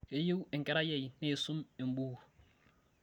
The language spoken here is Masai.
keyieu enkerai ai neisum embukuj